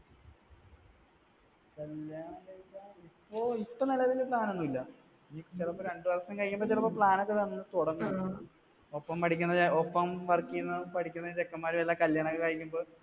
കല്യാണം കഴിക്കാൻ ഓ ഇപ്പോൾ നിലവിൽ plan ഒന്നുമില്ല. ചെലപ്പോ രണ്ട് വർഷം കഴിയുമ്പോഴേക്കും അപ്പൊ plan ഒക്കെ വന്നു തുടങ്ങും. ഒപ്പം പഠിക്കണ work ചെയ്യണം പഠിക്കണ ചെക്കൻമാരുടെ ഒക്കെ കല്യാണം കഴിഞ്ഞ് ഇപ്പോ